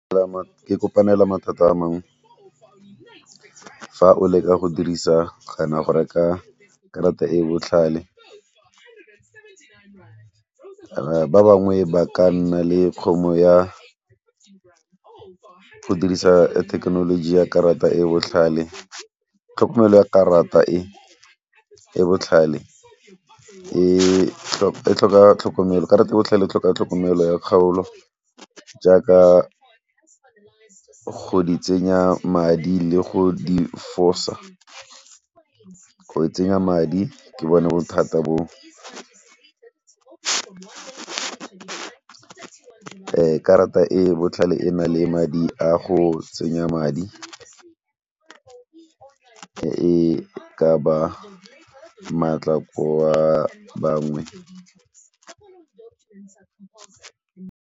e kopanela mathata a mang fa o leka go dirisa kana go reka karata e e botlhale ba bangwe ba ka nna le kgono ya go dirisa thekenoloji ya karata e botlhale. Tlhokomelo ya karata e e botlhale e tlhoka tlhokomelo, karata e botlhale e tlhoka tlhokomelo ya kgaolo jaaka go di tsenya madi le go di fosa. Go tsenya madi ke bone bothata bo karata e e botlhale e na le madi a go tsenya madi e ka ba maatla go ba bangwe.